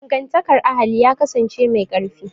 Dangantakar ahali ya kasance mai ƙarfi